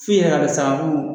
F'i yɛrɛ ka dɔn sa ko mun